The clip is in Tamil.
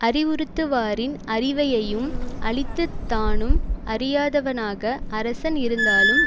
அறிவுறுத்துவாரின் அறிவையையும் அழித்துத் தானும் அறியாதவனாக அரசன் இருந்தாலும்